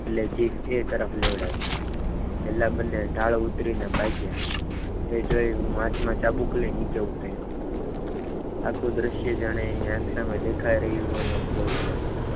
એટલે જીભ એ તરફ લેવડાવી પહેલા બંને ઢાળ ઉતરીને ભાગ્યા એ જોઈ હું હાથમાં ચા બુક લઈ નીચે ઉતર્યો આખું દ્રશ્ય જાણે એની આંખોમાં દેખાઈ રહી હોય તેમ બોલતો હતો.